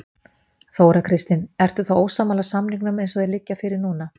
Þóra Kristín: Ertu þá ósammála samningunum eins og þeir liggja fyrir núna?